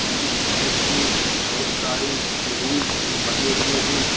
इस प्लेस में बहुत सारे रूम बने हुए हैं।